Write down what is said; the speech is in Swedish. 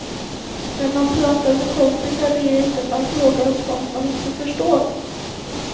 När man pratar med kompisar blir det inte att man frågar om sånt man inte förstår.